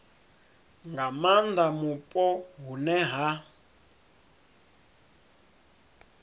nga maanda mupo hune ha